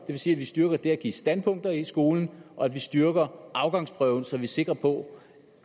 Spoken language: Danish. vil sige at vi styrker det at give standpunkter i skolen og at vi styrker afgangsprøven så vi er sikre på